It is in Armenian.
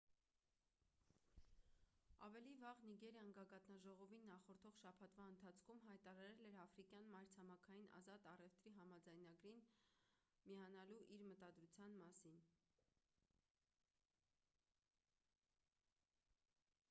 ավելի վաղ նիգերիան գագաթնաժողովին նախորդող շաբաթվա ընթացքում հայտարարել էր աֆրիկյան մայրցամաքային ազատ առևտրի համաձայնագրին afcfta միանալու իր մտադրության մասին: